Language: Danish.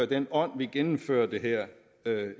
den ånd vi gennemfører det her